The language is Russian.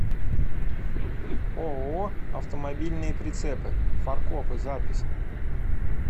ооо автомобильные прицепы фаркопы запись